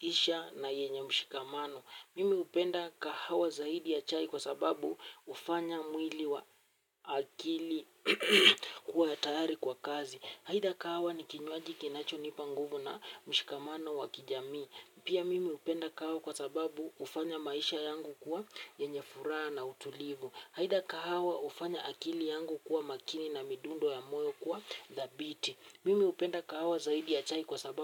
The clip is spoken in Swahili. isha na yenye mshikamano. Mimi hupenda kahawa zaidi ya chai kwa sababu hufanya mwili wa akili kuwa ya tayari kwa kazi. Haida kahawa ni kinywaji kinacho nipanguvu na mshikamano wa kijamii. Pia mimi hupenda kahawa kwa sababu hufanya maisha yangu kuwa yenye furaha na utulivu. Haida kahawa hufanya akili yangu kuwa makini na midundo ya moyo kuwa dhabiti. Mimi upenda kahawa zaidi ya chai kwa sababu.